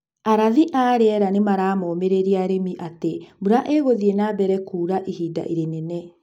Arathi a rĩera nĩmaramomĩrĩria arĩmi atĩ mbura nĩ ĩgũthiĩ nambere kuura ihinda rĩnene.